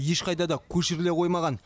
ешқайда да көшіріле қоймаған